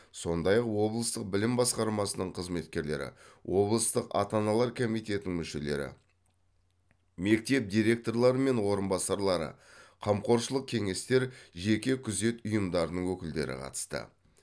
сондай ақ облыстық білім басқармасының қызметкерлері облыстық ата аналар комитетінің мүшелері мектеп директорлары мен орынбасарлары қамқоршылық кеңестер жеке күзет ұйымдарының өкілдері қатысты